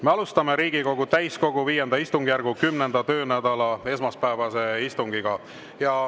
Me alustame Riigikogu täiskogu V istungjärgu 10. töönädala esmaspäevast istungit.